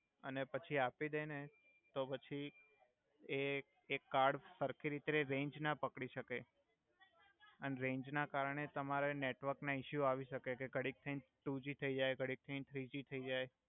અને પછી આપી દે ને તો પછી એ કે કાર્ડ સર્ખી રીતે રેંજ ના પક્ડી સકે અન રેંજ ના કરણે તમારએ નેટવર્ક ન ઇસ્યુ આવી સકે ઘડિક થઈ ટુજી થઈ જઈ ઘડિક થઈ થ્રીજી થઈ જાઇ